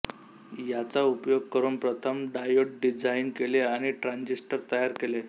याचा उपयोग करून प्रथम डायोड डिझाइन केले आणि ट्रान्झिस्टर तयार केले